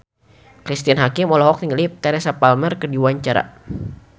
Cristine Hakim olohok ningali Teresa Palmer keur diwawancara